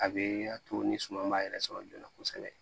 A be a to ni suman ma yɛrɛ sɔrɔ joona kosɛbɛ